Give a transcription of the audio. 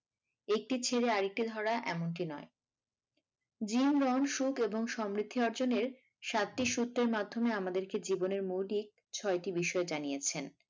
একটি ছেড়ে আরেকটি ধরা এমনটি নয় জিম রন সুখ এবং সমৃদ্ধি অর্জনের সাতটি সূত্রের মাধ্যমে আমদেরকে জীবনের মৌলিক ছয়টি বিষয় জানিয়েছেন।